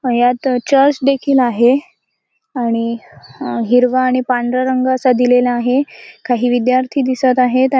यात चर्च देखील आहे आणि अ हिरवा आणि पांढरा रंग असा रंग दिलेला आहे काही विद्यार्थी दिसत आहे आ--